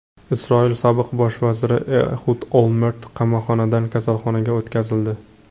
Isroil sobiq bosh vaziri Ehud Olmert qamoqxonadan kasalxonaga o‘tkazildi.